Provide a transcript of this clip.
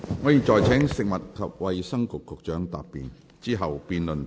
我現在請食物及衞生局局長答辯，之後辯論即告結束。